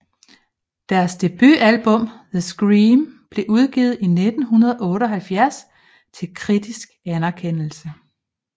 Deres debutalbum The Scream blev udgivet i 1978 til kritisk anerkendelse